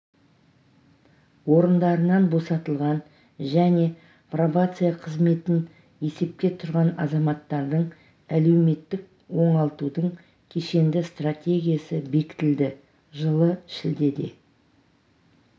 орындарынан босатылған және пробация қызметін есепке тұрған азаматтардың әлеуметтік оңалтудың кешенді стратегиясы бекітілді жылы шілдеде